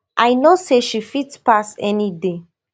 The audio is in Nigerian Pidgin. i know say she fit pass any day